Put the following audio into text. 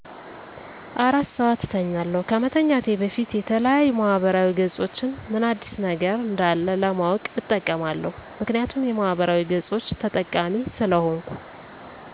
አራት ሰዓት እተኛለሁ ከመተኛቴ በፊት የተለያዩ ማህበራዊ ገፆችን ምን አዲስ ነገር እንዳለ ለማወቅ እጠቀማለሁ ምክንያቱም የማህበራዊ ገፆች ተጠቃሚ ስለሆንኩ